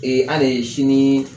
an ne ye sini